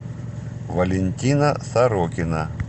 валентина сорокина